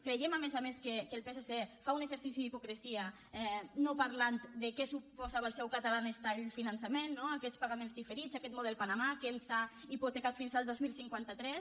creiem a més a més que el psc fa un exercici d’hipocresia no parlant de què suposava el seu catalan stylepagaments diferits aquest model panamà que ens ha hipotecat fins al dos mil cinquanta tres